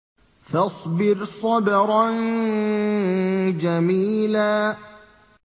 فَاصْبِرْ صَبْرًا جَمِيلًا